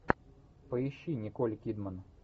поищи николь кидман